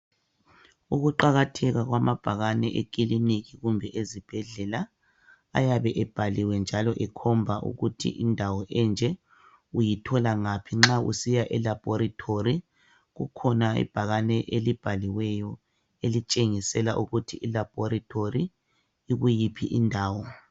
Ukuqakatheka kwamabhakane ekiliniki kumbe ezibhedlela ayabe ebhaliwe njalo ekhomba ukuthi indawo enje uyithola ngaphi, nxa usiya elabhorithori kukhona ibhakane elibhaliweyo elitshengisela ukuthi ilabhorithori ikuyiphi